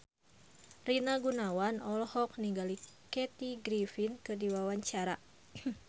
Rina Gunawan olohok ningali Kathy Griffin keur diwawancara